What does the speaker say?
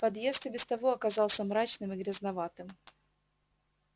подъезд и без того оказался мрачным и грязноватым